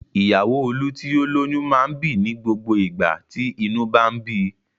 Ìyàwó Olú tí ó lóyún máa ń bì ní gbogbo ìgbà tí inú bá ń bi.